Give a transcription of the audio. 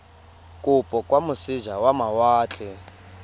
kopo kwa moseja wa mawatle